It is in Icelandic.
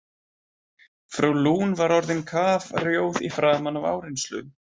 Frú Lune var orðin kafrjóð í framan af áreynslu.